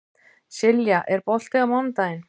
Silja, er bolti á mánudaginn?